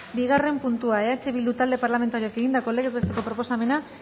bigarren puntua eh bildu talde parlamentarioak egindako legez besteko proposamena